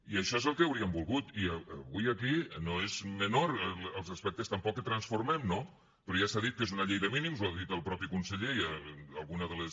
i això és el que hauríem volgut i avui aquí no són menors els aspectes tampoc que transformem no però ja s’ha dit que és una llei de mínims ho ha dit el mateix conseller i alguna de les